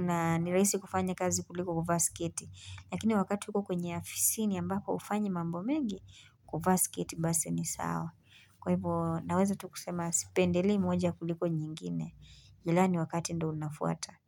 Na ni rahisi kufanya kazi kuliko kuvaa sketi. Lakini wakati uko kwenye afisini ambako hufanyi mambo mengi, kuvaa sketi basi ni sawa. Kwa hivyo naweza tu kusema Sipendelei moja kuliko nyingine. Ila ni wakati ndio unafuata.